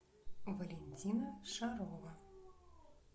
валентина шарова